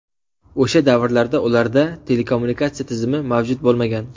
O‘sha davrlarda ularda telekommunikatsiya tizimi mavjud bo‘lmagan.